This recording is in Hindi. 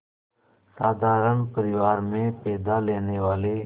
साधारण परिवार में पैदा लेने वाले